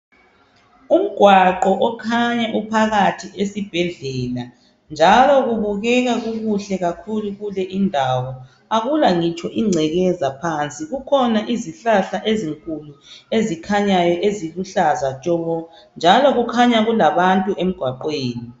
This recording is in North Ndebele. Umgwaqo okhanya uphakathi esibhedlela njalo kubukeka kukuhle kakhulu kule indawo akula ngitsho ingcekeza phansi. Kukhona izihlahla ezinkulu ezikhanya ziluhlaza tshoko njalo kukhanya kulabantu emgwaqweni.